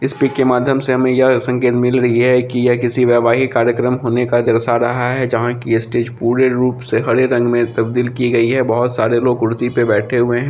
इस पिक के माध्यम से हमें यह संकेत मिल रही है कि यह किसी वैवाहिक कार्यक्रम होने का दर्शा रहा है जहां की स्टेज पूरे रूप से हरे रंग में तब्दील की गई है बहुत सारे लोग कुर्सी पे बैठे हुए हैं।